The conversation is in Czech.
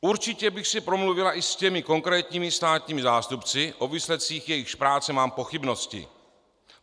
Určitě bych si promluvila i s těmi konkrétními státními zástupci, o výsledcích jejichž práce mám pochybnosti.